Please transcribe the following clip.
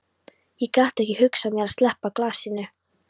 Ég gat ekki hugsað mér að sleppa glasinu.